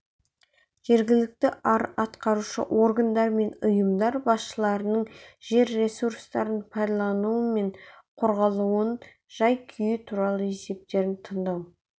жергілікті атқарушы органдар мен ұйымдар басшыларының жер ресурстарының пайдаланылуы мен қорғалуының жай-күйі туралы есептерін тыңдау